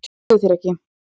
Ég trúi þér ekki!